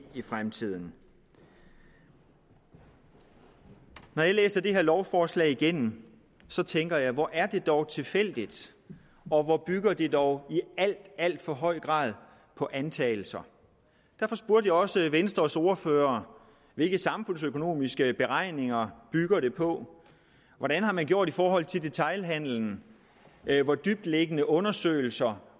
i fremtiden når jeg læser det her lovforslag igennem tænker jeg hvor er det dog tilfældigt og hvor bygger det dog i alt alt for høj grad på antagelser derfor spurgte jeg også venstres ordfører hvilke samfundsøkonomiske beregninger bygger det på hvordan har man gjort det i forhold til detailhandelen hvor dybtliggende undersøgelser